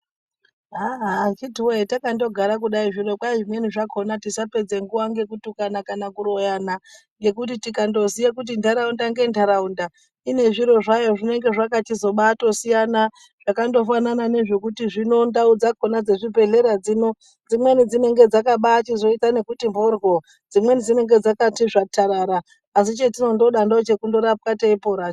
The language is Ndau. Aaaa akhiti woye kwai takandogara kudai zvino kwai zvimweni zvakhona tisapedza nguwa ngekutukana kana kuroyana, ngekuti tikandoziya kuti nhtaraunda ngenhtaraunda ine zviro zvayo zvinenge zvakabachitosiyana zvakandofanana nekuti ndau dzakhona dzezvibhedhlera zvino dziimweni dzinenge dzakabazoti mhoryo dzimweni tsvatarara asi chendinondoda ndochekurapwa teiporacho.